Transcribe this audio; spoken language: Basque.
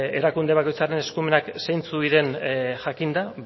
erakunde bakoitzaren eskumenak zeintzuk diren jakinda